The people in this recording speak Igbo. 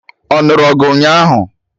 Ọ nụrụ ọgụ ụnyaahụ